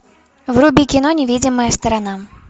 вруби кино невидимая сторона